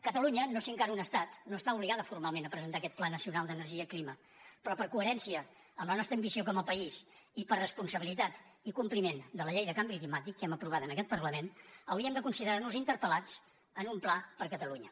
catalunya no sent encara un estat no està obligada formalment a presentar aquest pla nacional d’energia i clima però per coherència amb la nostra ambició com a país i per responsabilitat i compliment de la llei de canvi climàtic que hem aprovat en aquest parlament hauríem de considerar nos interpel·lats per a un pla per a catalunya